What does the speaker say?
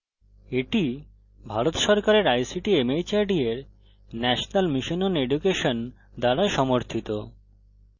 এটি ভারত সরকারের ict mhrd এর national mission on education দ্বারা সমর্থিত